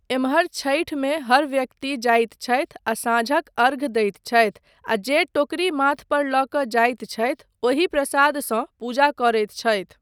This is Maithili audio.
एम्हर छठिमे हर व्यक्ति जाइत छथि आ साँझक अर्घ्य दैत छथि आ जे टोकरी माथ पर लऽ कऽ जाइत छथि ओहि प्रसादसँ पूजा करैत छथि।